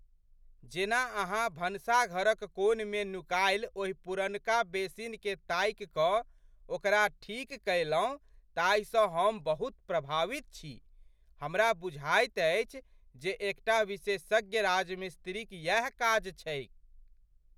जेना अहाँ भनसाघरक कोनमे नुकायल ओहि पुरनका बेसिनकेँ ताकि कऽ ओकरा ठीक कयलहुँ ताहिसँ हम बहुत प्रभावित छी। हमरा बुझाइत अछि जे एकटा विशेषज्ञ राजमिस्त्रीक यैह काज छैक।